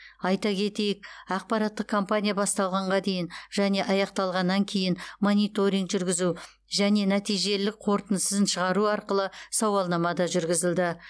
айта кетейік ақпараттық компания басталғанға дейін және аяқталғаннан кейін мониторинг жүргізу және нәтижелілік қорытындысын шығару арқылы сауалнама да жүргізілді